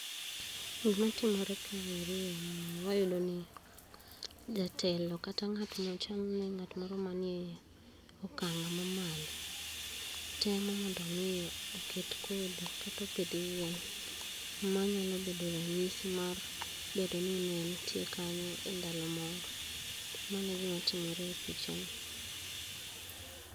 Gima timore kaeri en ni wayudo ni jatelo kata ngat machal ni ng'at moro ma ni okang' ma malo temo ni omi oket kodhi kata opith yien manyalo bado ranyisi mar bedo ni neentie kanyo e ndalo moro, mano e gima timire e picha no.